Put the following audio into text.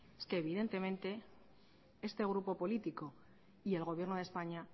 es que evidentemente este grupo político y el gobierno de españa